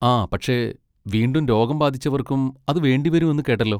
ആ പക്ഷെ, വീണ്ടും രോഗം ബാധിച്ചവർക്കും അത് വേണ്ടിവരും എന്ന് കേട്ടല്ലോ.